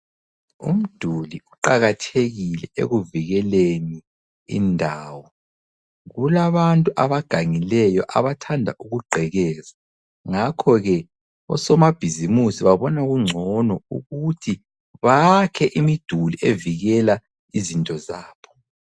Umduli uqakathekile ekuvikeleni indawo. Kulabantu abagangileyo abathanda ukugqekeza ngakho ke osomabhizimusi babona kungcono ukuthi bakhe imiduli evikela izinto zabo.